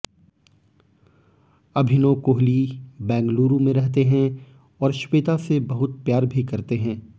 अभिनव कोहली बैंगलूरू में रहते हैं और श्वेता से बहुत प्यार भी करते हैं